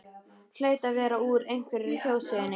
Hlaut að vera úr einhverri þjóðsögunni.